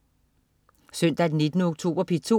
Søndag den 19. oktober - P2: